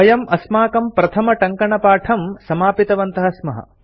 वयम् अस्माकं प्रथमटङ्कणपाठं समापितवन्तः स्मः